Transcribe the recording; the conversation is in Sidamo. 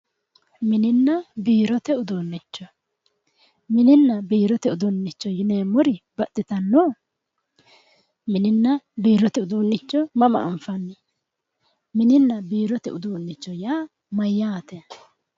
Mininna biirote uduunnicho mininna biirote uduunnicho yineemmori baxxitanno mininna biirote uduunnicho mama anfanni mininna biirote uduunnicho yaa mayyaate